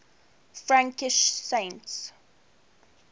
frankish saints